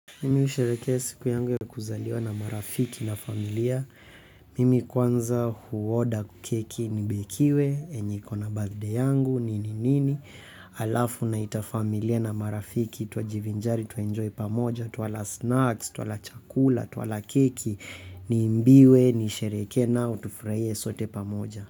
Mimi husherekea siku yangu ya kuzaliwa na marafiki na familia. Mimi kwanza huoda keki nibekiwe yenye iko na birthday yangu, nini nini alafu naita familia na marafiki twajivinjari, twaenjoy pamoja twala snacks, twala chakula, twala keki niimbiwe, nisherekee nao tufurahie sote pamoja.